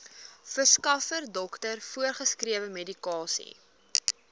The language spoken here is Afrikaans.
verskaffer dokter voorgeskrewemedikasie